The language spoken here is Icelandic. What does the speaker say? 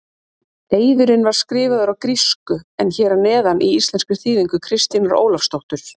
Eiðurinn var skrifaður á grísku en er hér að neðan í íslenskri þýðingu Kristínar Ólafsdóttur.